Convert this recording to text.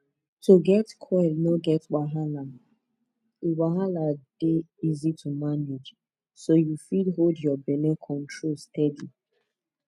to get coil no get wahala e wahala e dey easy to manage so yu fit hold ur belle control steady